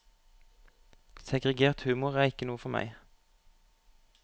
Segregert humor er ikke noe for meg.